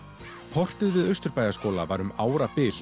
portið við Austurbæjarskóla var um árabil